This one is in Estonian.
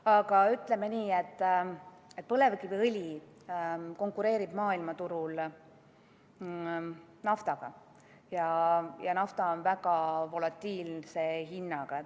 Aga ütleme nii, et põlevkiviõli konkureerib maailmaturul naftaga ja nafta on väga volatiilse hinnaga.